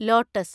lotus